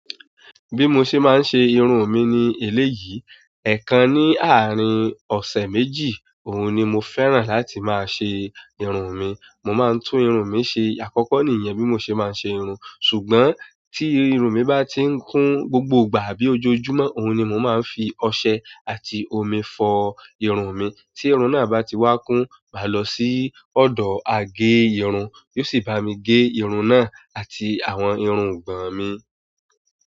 Bí mo ṣe máa ń ṣe irun mi ni èléyìí, ẹ̀ẹ̀kan ní àárín ọ̀sẹ̀ méjì, òhun ni mo fẹ́ràn láti máa ṣe irun mi. Mo máa ń tún irun mi ṣe, àkọ́kọ́ nìyẹn bí mo ṣe máa ń ṣe irun, ṣùgbọ́n tí irun mi bá ti ń kún gbogbo ìgbà àbí ojoojúmọ́, òhun ni mo máa ń fi ọṣẹ àti omi fọ irun mi. Tí irun náà bá ti wá kún, màá lọ sí ọ̀dọ̀ agé irun, yóò sì bá mi gẹ irun náà àti àwọn irun ọ̀gbọ̀n mi.